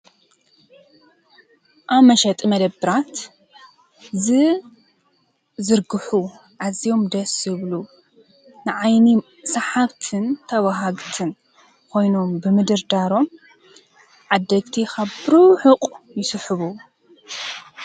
ኣብ መሸጢ መደበራት ዝዝርግሑ ኣዝዮም ደስ ዝብሉ ንዓይኒ ሰሓብትን ተባሃግትን ኮይኖም ብምድርዳሮም ዓደግቲ ካብ ብርሑቕ ይስሕቡ።